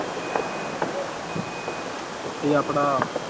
ਤੇ ਆਪਣਾ